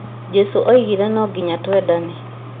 Jesũ augire no nyinga twendane